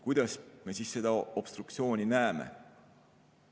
Kuidas me seda obstruktsiooni näeme?